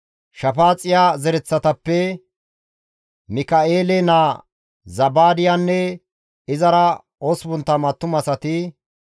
Shafaaxiya zereththatappe Mika7eele naa Zabaadiyanne izara 80 attumasati,